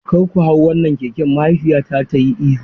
Kar ku hau wannan keken, mahaifiyata ta yi ihu.